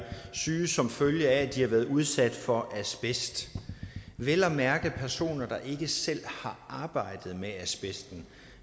syge som følge af at de har været udsat for asbest vel at mærke personer der ikke selv har arbejdet med asbesten